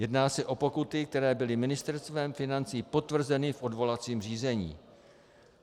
Jedná se o pokuty, které byly Ministerstvem financí potvrzeny v odvolacím řízení.